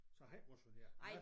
Så jeg har ikke motioneret